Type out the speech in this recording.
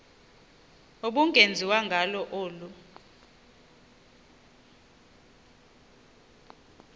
ubungenziwa ngalo olu